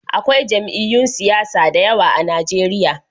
Akwai jami'yyun siyasa da yawa a Najeriya